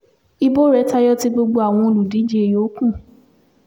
ibo rẹ̀ tayọ ti gbogbo àwọn olùdíje yòókù